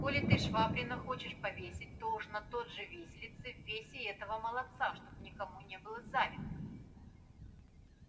коли ты швабрина хочешь повесить то уж на тот же виселице весь и этого молодца чтоб никому не было завидно